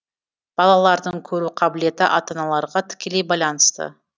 балалардың көру қабілеті ата аналарға тікелей байланысты